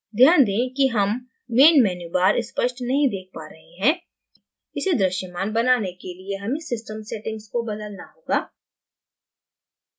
ध्यान दें कि हम main menu bar स्पष्ट नहीं देख पा रहे हैं इसे दृश्यमान बनाने के लिये main system settings को बदलना होगा